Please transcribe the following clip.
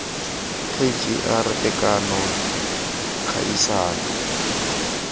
k g r tekano kgaisano